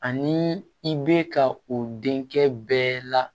Ani i bɛ ka o denkɛ bɛɛ la